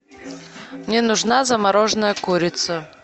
мне нужна замороженная курица